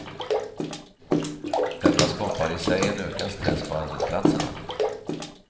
Detta skapar i sig en ökad stress på arbetsplatserna.